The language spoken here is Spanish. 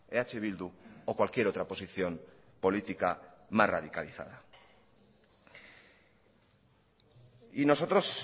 eh bildu o cualquier otra posición política más radicalizada y nosotros